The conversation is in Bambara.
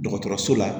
Dɔgɔtɔrɔso la